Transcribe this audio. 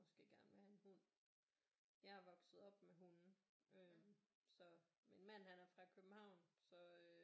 Måske gerne vil have en hund jeg er vokset op med hunde så min mand han er fra København så øh